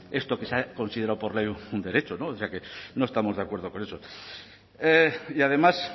esto que se ha considerado por ley un derecho o sea que no estamos de acuerdo con eso y además